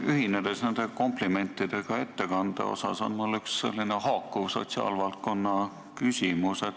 Ühinedes komplimentidega ettekande eest, on mul üks haakuv sotsiaalvaldkonna küsimus.